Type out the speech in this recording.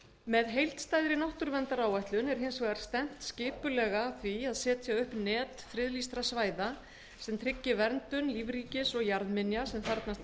með heildstæðri náttúruverndaráætlun er hins vegar stefnt skipulega af því að setja upp net friðlýstra svæða sem tryggi verndun lífríkis og jarðminja sem þarfnast